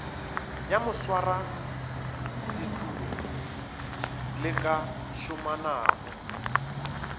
ya moswarasetulo le ka šomanago